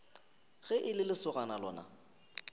ge e le lesogana lona